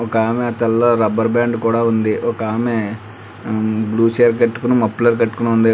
ఒక ఆమె తలలో రబ్బర్ బ్యాండ్ కూడా ఉంది ఒక ఆమె మ్మ్ బ్లు చీర కట్టుకొని మఫ్లర్ కట్టుకొని ఉంది.